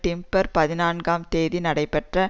December பதினான்காம் தேதி நடைபெற்ற